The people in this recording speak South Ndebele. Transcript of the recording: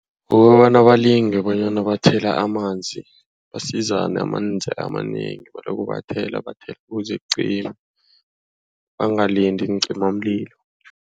Kukobana balinge bonyana bathela amanzi basizane, amanzi amanengi baloko bathela bathela ukuze kucime bangalindi iincimamlilo.